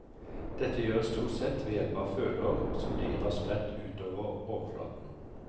Dette gjøres stort sett ved hjelp av følehår som dyret har spredt utover overflaten.